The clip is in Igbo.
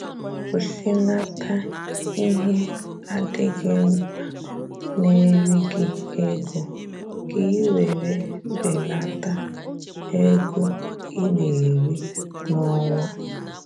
kwụsịnata ihe adịghị mkpa na eri gị ego ka i nwèrè belata ego I na eri na onwa